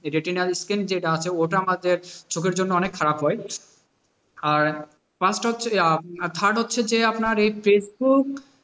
Retina skin যেটা আছে ওটা আমাদের চোখের জন্য অনেক খারাপ হয় আর আহ third হচ্ছে যে আপনার এই ফেসবুক,